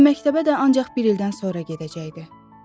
Və məktəbə də ancaq bir ildən sonra gedəcəkdi.